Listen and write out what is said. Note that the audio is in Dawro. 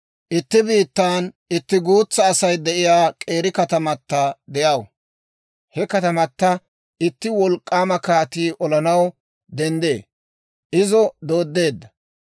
Itti biittan itti guutsa Asay de'iyaa k'eeri katamatta de'aw; he katamatto itti wolk'k'aama kaatii olanaw denddee. Izo dooddeedda.